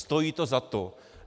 Stojí to za to.